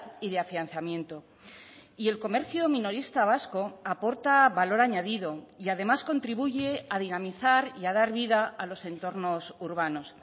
y de afianzamiento y el comercio minorista vasco aporta valor añadido y además contribuye a dinamizar y a dar vida a los entornos urbanos